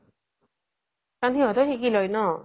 কাৰন সিহ্তেও শিকি লই ন